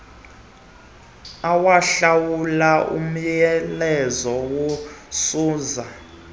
awahlawule umyalezo kasuzan